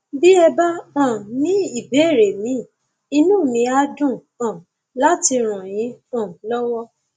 bí ẹ bá um ní ìbéèrè míì inú mi á dùn um láti ràn yín um lọwọ